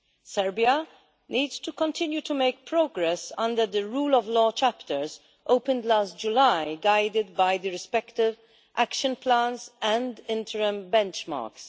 Serbia needs to continue to make progress under the rule of law chapters opened last July, guided by the respective action plans and interim benchmarks.